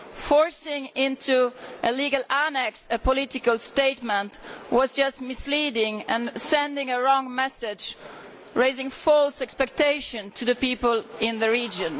Forcing into a legal annex a political statement was just misleading and sent the wrong message, raising false expectations for the people in the region.